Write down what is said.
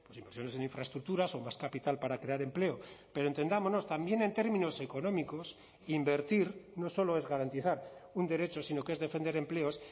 inversiones en infraestructuras o más capital para crear empleo pero entendámonos también en términos económicos invertir no solo es garantizar un derecho sino que es defender empleos